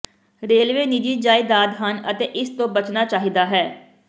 railway ਨਿੱਜੀ ਜਾਇਦਾਦ ਹਨ ਅਤੇ ਇਸ ਤੋਂ ਬਚਣਾ ਚਾਹੀਦਾ ਹੈ